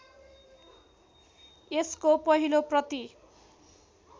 यसको पहिलो प्रति